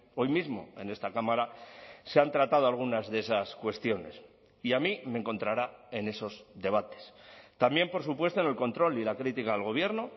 hoy mismo en esta cámara se han tratado algunas de esas cuestiones y a mí me encontrará en esos debates también por supuesto en el control y la crítica al gobierno